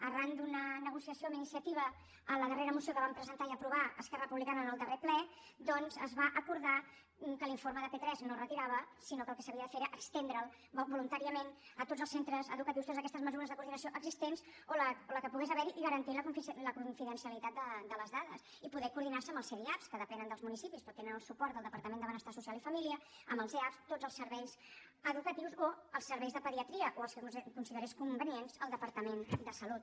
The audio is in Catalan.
arran d’una negociació amb iniciativa en la darre·ra moció que vam presentar i aprovar esquerra re·publicana en el darrer ple doncs es va acordar que l’informe de p3 no es retirava sinó que el que s’ha·via de fer era estendre’l voluntàriament a tots els cen·tres educatius totes aquestes mesures de coordinació existents o la que pogués haver·hi i garantir la con·fidencialitat de les dades i poder coordinar·se amb els cdiap que depenen dels municipis però tenen el suport del departament de benestar social i família amb els eap tots els serveis educatius o els serveis de pediatria o els que considerés convenients el de·partament de salut